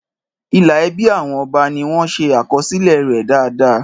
Ìlà ẹbí àwọn ọba ni wọ́n ṣe àkọsílẹ̀ rẹ̀ dáadáa.